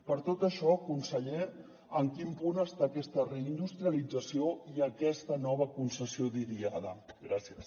per tot això conseller en quin punt estan aquesta reindustrialització i aquesta nova concessió d’idiada gràcies